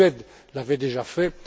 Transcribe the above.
La Suède l'avait déjà fait.